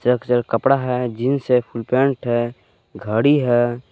कपड़ा है जींस है फुल पैंट है घड़ी है।